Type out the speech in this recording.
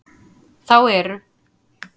Þá eru